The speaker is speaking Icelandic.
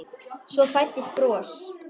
Svo fæddist bros.